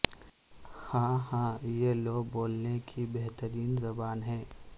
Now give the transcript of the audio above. ہا ہا یہ لو بولنے کی بہترین زبان ہے